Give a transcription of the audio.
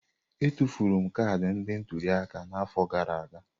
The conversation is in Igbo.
Etufuru m kaadị ndị ntuli aka n'afọ gara aga.